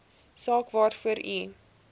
saak waarvoor u